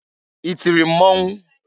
I tiri mmọnwụ?